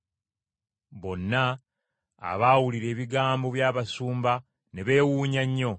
Bonna abaawulira ebigambo by’abasumba ne beewuunya nnyo.